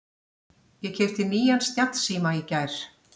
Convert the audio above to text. Ég keypti nýjan snjallsíma í gær.